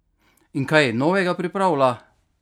In kaj novega pripravlja?